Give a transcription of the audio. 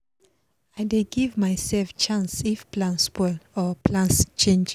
i dey give myself chance if plan spoil or plans change